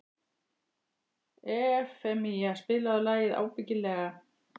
Evfemía, spilaðu lagið „Ábyggilega“.